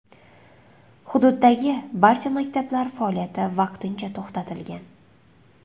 Hududdagi barcha maktablar faoliyati vaqtincha to‘xtatilgan.